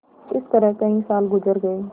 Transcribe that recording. इस तरह कई साल गुजर गये